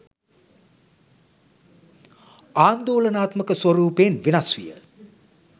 ආන්දෝලනාත්මක ස්වරූපයෙන් වෙනස් විය